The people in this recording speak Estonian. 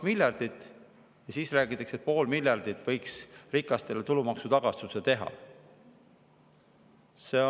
Ja siis räägitakse, et võiks poole miljardi euro eest rikastele tulumaksu teha!